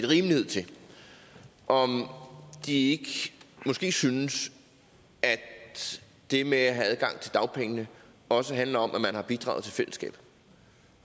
rimelighed til og at de måske synes at det med at have adgang til dagpengene også handler om at man har bidraget til fællesskabet